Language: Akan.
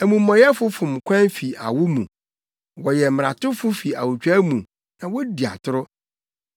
Amumɔyɛfo fom kwan fi awo mu; wɔyɛ mmaratofo fi awotwaa mu na wodi atoro.